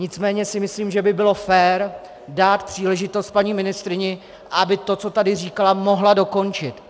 Nicméně si myslím, že by bylo fér dát příležitost paní ministryni, aby to, co tady říkala, mohla dokončit.